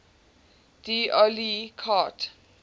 d oyly carte